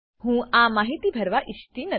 હું આ માહિતી ભરવા ઈચ્છતી નથી